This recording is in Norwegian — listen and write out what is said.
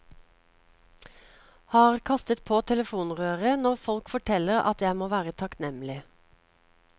Har kastet på telefonrøret når folk forteller at jeg må være takknemlig.